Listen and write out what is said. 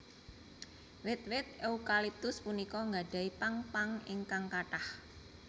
Wit wit eukaliptus punika nggadhahi pang pang ingkang kathah